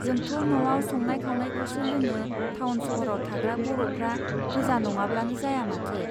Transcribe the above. जोंथ' न'आव संनाय खावनायखौसो लोङो थावन सहराव थाग्रा बर'फ्रा गोजा नङाब्लानो जाया माथो.